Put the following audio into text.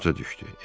Borca düşdü.